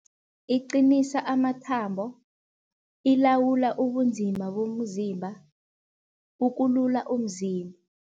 Iqinisa amathambo, ilawula ubunzima bomzimba, ukulula umzimba.